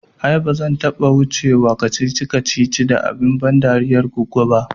Ai ba zan taɓa wuce wa kacici kacici da abun ban dariyar goggo ba